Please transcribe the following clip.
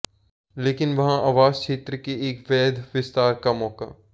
लेकिन वहाँ आवास क्षेत्र के एक वैध विस्तार का मौका